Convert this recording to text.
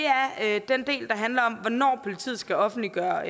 er blandt andet den del der handler om hvornår politiet skal offentliggøre